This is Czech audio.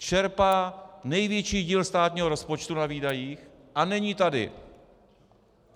Čerpá největší díl státního rozpočtu na výdajích a není tady.